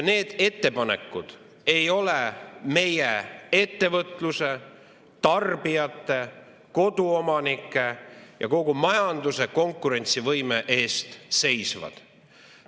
Need ettepanekud ei ole meie ettevõtluse, tarbijate, koduomanike ja kogu majanduse konkurentsivõime eest seisvad.